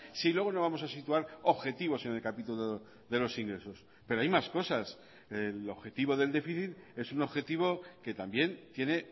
si luego no vamos a situar objetivos en el capítulo de los ingresos pero hay más cosas el objetivo del déficit es un objetivo que también tiene